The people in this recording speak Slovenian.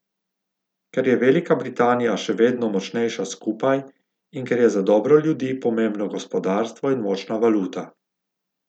Ker je Velika Britanija še vedno močnejša skupaj in ker je za dobro ljudi pomembno gospodarstvo in močna valuta.